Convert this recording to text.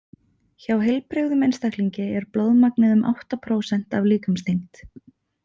Hjá heilbrigðum einstaklingi er blóðmagnið um átta prósent af líkamsþyngd.